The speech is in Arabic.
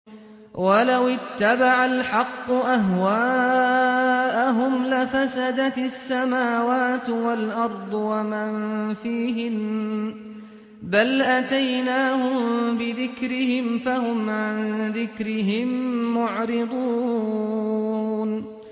وَلَوِ اتَّبَعَ الْحَقُّ أَهْوَاءَهُمْ لَفَسَدَتِ السَّمَاوَاتُ وَالْأَرْضُ وَمَن فِيهِنَّ ۚ بَلْ أَتَيْنَاهُم بِذِكْرِهِمْ فَهُمْ عَن ذِكْرِهِم مُّعْرِضُونَ